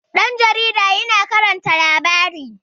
ɗan jaarida yana karanta labari